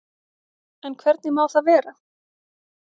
En hvernig má það vera?